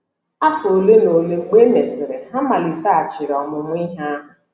Afọ ole na ole mgbe e mesịrị, ha maliteghachiri ọmụmụ ihe ha.